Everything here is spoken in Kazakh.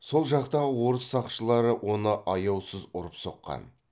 сол жақтағы орыс сақшылары оны аяусыз ұрып соққан